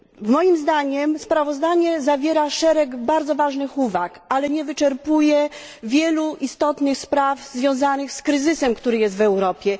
Moim zdaniem sprawozdanie zawiera szereg bardzo ważnych uwag, ale nie wyczerpuje wielu istotnych spraw związanych z obecnym kryzysem w Europie.